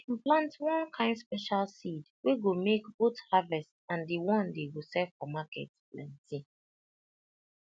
dem plant one kind special seed wey go make both harvest and the one dey go sell for market plenty